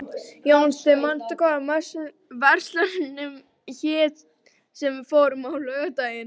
Jónsi, manstu hvað verslunin hét sem við fórum í á laugardaginn?